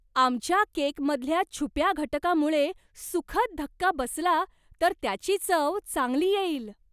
आमच्या केकमधल्या छुप्या घटकामुळे सुखद धक्का बसला तर त्याची चव चांगली येईल!